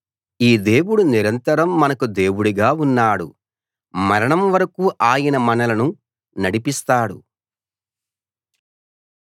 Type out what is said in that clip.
ఈ దేవుడు నిరంతరం మనకు దేవుడుగా ఉన్నాడు మరణం వరకూ ఆయన మనలను నడిపిస్తాడు